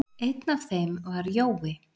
Einn af þeim var Jói.